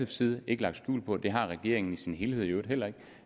side ikke lagt skjul på og det har regeringen i sin helhed i øvrigt heller ikke